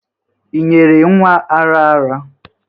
Ị nyere nwa ara ara.